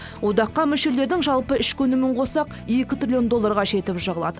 одаққа мүшелердің жалпы ішкі өнімін қоссақ екі триллион долларға жетіп жығылады